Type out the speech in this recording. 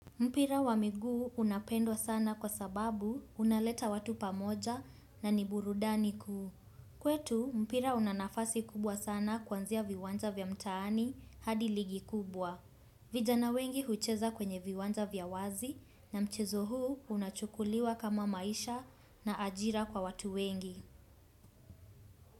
Mpira wa miguu unapendwa sana kwa sababu unaleta watu pamoja na ni burudani kuu. Kwetu mpira una nafasi kubwa sana kuanzia viwanja vya mtaani hadi ligi kubwa. Vijana wengi hucheza kwenye viwanja vya wazi na mchezo huu unachukuliwa kama maisha na ajira kwa watu wengi.